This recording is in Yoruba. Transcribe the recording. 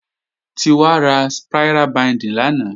Títí wá ra spira bíǹdì lánàá.